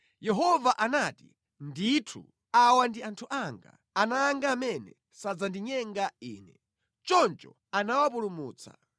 Yehova anati, “Ndithu awa ndi anthu anga, ana anga amene sadzandinyenga Ine.” Choncho anawapulumutsa.